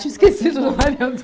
Tinha esquecido da Maria